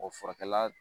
O furakɛla